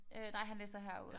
Øh nej han læser herude